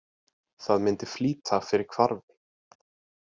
Það myndi flýta fyrir hvarfi.